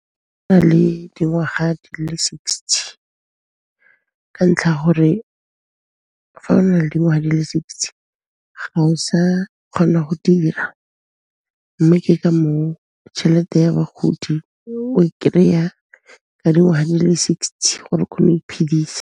O na le dingwaga di le sixty ka ntlha'a gore fa o na le dingwaha di le sixty, ga o sa kgona go dira, mme ke ka moo tšhelete ya bagodi o kry-a ka dingwaga di le sixty gore o kgone go iphedisa.